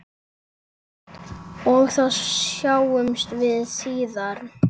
Og þá sjáumst við síðar!